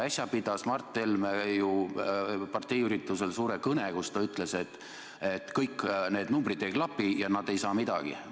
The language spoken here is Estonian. Äsja pidas Mart Helme parteiüritusel suure kõne, kus ta ütles, et kõik need numbrid ei klapi ja nad ei saa midagi.